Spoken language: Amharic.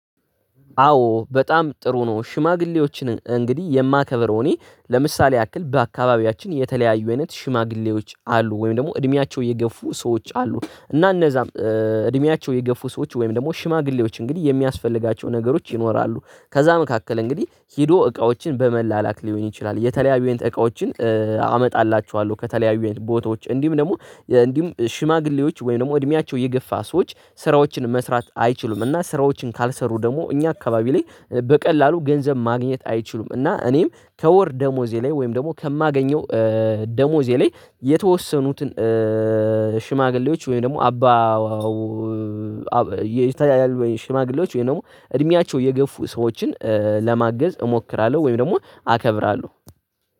አዎ በጣም ጥሩ ነው። ሽማግሌዎችን እንግዲህ የማከብረው እኔ ለምሳሌ ያክል በአካባቢያችን የተለያዩ አይነት ሽማግሌዎች አሉ ወይም ደግሞ እድሜያቸው የገፉ ሰዎች አሉ። እና እነዛም እድሜያቸው የገፉ ሰዎች ወይም ደግሞ ሽማግሌዎች እንግዲህ የሚያስፈልጋቸው ነገሮች ይኖራሉ። ከዛ መካከል እንግዲህ ሄዶ እቃዎችን በመላላክ ሊሆን ይችላል የተለያዩን አይነት እቃዎችን። አመጣላችኋለሁ ከተለያዩ ቦታዎች እንዲሁም ደግሞ እንዲሁም ሽማግሌዎች ወይም ደግሞ እድሜያቸው የገፋ ሰዎች ስራዎችን መስራት አይችሉም። እና ስራዎችን ካልሰሩ ደግሞ እኛ አካባቢ ላይ በቀላሉ ገንዘብ ማግኘት አይችሉም። እና እኔም ከወር ደሞዜ ላይ ወይም ደግሞ ከማገኘው ደሞዜ ላይ የተወሰኑትን ሽማግሌዎች ወይም ደግሞ አባ ይታያል ወይም ሽማግሌዎች ወይም ደግሞ እድሜያቸው የገፉ ሰዎችን ለማገዝ እሞክራለሁ። ወይም ደግሞ አከብራለሁ።